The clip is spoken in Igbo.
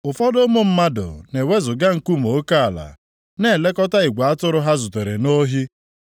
Ụfọdụ ụmụ mmadụ na-ewezuga nkume oke ala, na-elekọta igwe atụrụ ha zutere nʼohi.